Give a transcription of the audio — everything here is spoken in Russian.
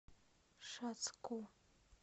шацку